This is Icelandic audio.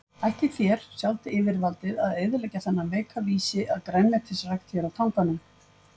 Ætlið þér, sjálft yfirvaldið, að eyðileggja þennan veika vísi að grænmetisrækt hér á Tanganum?